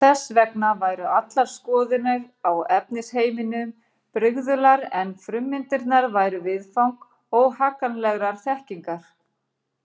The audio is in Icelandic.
Þess vegna væru allar skoðanir á efnisheiminum brigðular en frummyndirnar væru viðfang óhagganlegrar þekkingar.